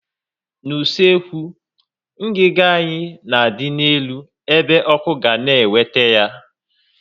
N' usekwu, ngiga anyị na adị n'elu ebe ọkụ ga na eweta ya